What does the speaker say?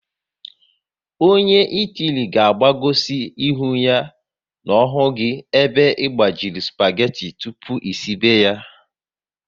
Ọnye Itali ga agbagosi ihu n'ohu gị ebe gbajiri supageti tụpụ esibe ya